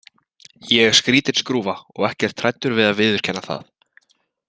Ég er skrítin skrúfa og ekkert hræddur við að viðurkenna það.